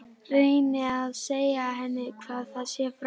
Reyni að segja henni hvað það sé frá